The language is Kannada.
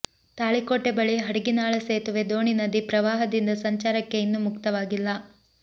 ತಾಳಿಕೋಟೆ ಬಳಿ ಹಡಗಿನಾಳ ಸೇತುವೆ ಡೋಣಿ ನದಿ ಪ್ರವಾಹದಿಂದ ಸಂಚಾರಕ್ಕೆ ಇನ್ನೂ ಮುಕ್ತವಾಗಿಲ್ಲ